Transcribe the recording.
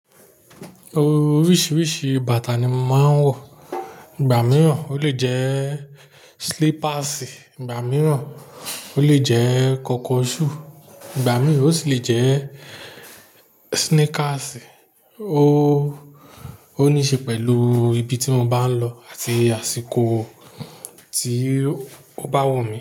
Oríṣiríṣi bàtà ni mo màá ń wọ. Ìgbà mìíràn ó lè jẹ́ slippers, ìgbà mìíràn ó lè jẹ́ kọ̀kọ̀ṣù, ìgbà mìíràn ó sì lè jẹ́ sneakers. Ó, ó níí ṣe pẹ̀lú ibi tí mo bá ń lọ àti àsìkò tí ó bá wọ̀ mí.